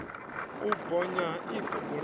u bonya ha iṱo bulani